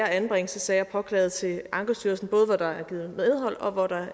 anbringelsessager påklaget til ankestyrelsen både hvor der er givet medhold og hvor der